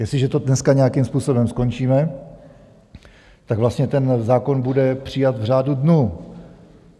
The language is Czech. Jestliže to dneska nějakým způsobem skončíme, tak vlastně ten zákon bude přijat v řádu dnů.